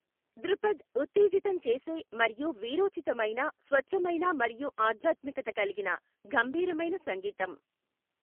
ధృపద్, ఉత్తేజితం చేసే మరియు వీరోచితమైన, స్వచ్ఛమైన మరియు ఆధ్యాత్మికత కలిగిన గంభీరమైన సంగీతం.